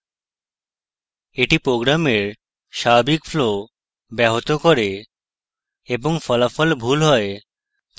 এটি program স্বাভাবিক flow ব্যাহত করে এবং ফলাফল ভুল হয়